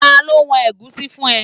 Ta ló wọn ẹ̀gúsí fún ẹ?